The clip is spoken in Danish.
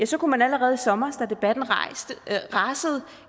så kunne man allerede i sommer da debatten rasede